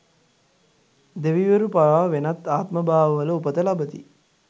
දෙවිවරු පවා වෙනත් ආත්මභාවවල උපත ලබති.